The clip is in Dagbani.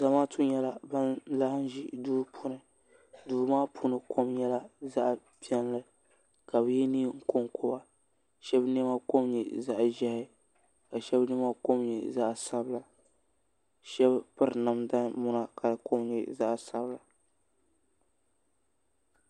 Zamaatu n laɣim ʒi duu puuni duu maa puuni kom nyɛla zaɣpiɛlli ka bi yɛ neen koŋkoba shaba niɛma kom nyɛ zaɣ'ʒiɛhi kashaba niɛma kom nyɛ zaɣ'sabila ka shaba piri namda muna ka di kom nyɛ zaɣ'sabila